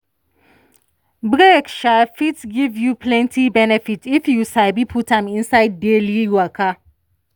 break fit give you plenty benefit if you sabi put am inside daily waka.